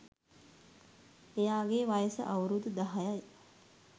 එයාගෙ වයස අවුරුදු දහයයි